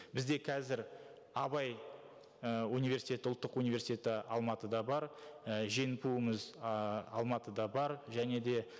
бізде қазір абай і университеті ұлттық университеті алматыда бар і женпу іміз ааа алматыда бар және де